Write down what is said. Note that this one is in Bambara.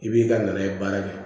I b'i ka na ye baara kɛ